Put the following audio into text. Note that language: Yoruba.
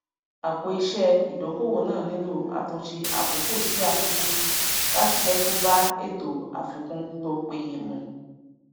apòiṣẹ idokoowó náà nílò àtúnṣe àkókò sí àkókò láti jẹ kó bá ètò àfikún to peye mu